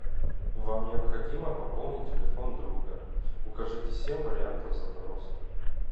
вам необходимо пополнить телефон друга укажите семь вариантов запроса